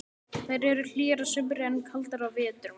Þær eru hlýjar að sumri en kaldar á vetrum.